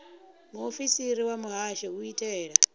muofisiri wa muhasho u itela